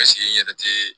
n yɛrɛ tɛ